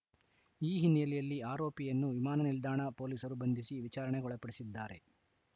ಈ ಹಿನ್ನೆಲೆಯಲ್ಲಿ ಆರೋಪಿಯನ್ನು ವಿಮಾನ ನಿಲ್ದಾಣ ಪೊಲೀಸರು ಬಂಧಿಸಿ ವಿಚಾರಣೆಗೊಳಪಡಿಸಿದ್ದಾರೆ